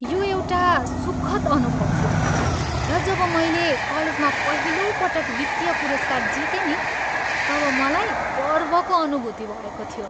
यो एउटा सुखद अनुभव थियो र जब मैले कलेजमा पहिलोपटक वित्तीय पुरस्कार जितेँ नि तब मलाई गर्वको अनुभूति भएको थियो।